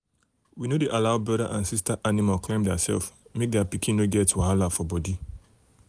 we no dey allow brother and sister animal climb theirself make their pikin no get wahala for body.